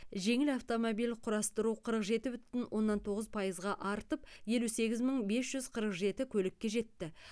жеңіл автомобиль құрастыру қырық жеті бүтін оннан тоғыз пайызға артып елу сегіз мың бес жүз қырық жеті көлікке жетті